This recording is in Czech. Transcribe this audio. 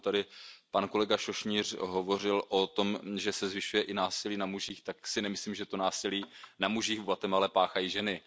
Pokud tady pan kolega Sośnierz hovořil o tom, že se zvyšuje i násilí na mužích, tak si nemyslím, že to násilí na mužích v Guatemale páchají ženy.